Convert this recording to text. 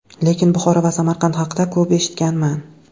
Lekin Buxoro va Samarqand haqida ko‘p eshitganman.